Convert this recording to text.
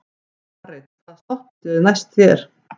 Marit, hvaða stoppistöð er næst mér?